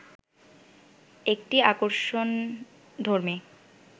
একটি আকর্ষণধর্মী